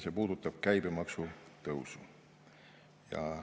See puudutab käibemaksu tõusu.